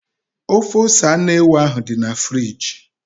Ofe ose anụ ewu ahụ dị na friji.